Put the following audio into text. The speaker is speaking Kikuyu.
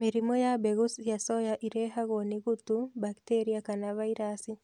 mĩrimũ ya mbegũ cia soya irehagwo ni gutu, bacteria kana vairasi